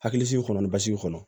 Hakilisigi kɔnɔ ni basigi kɔnɔ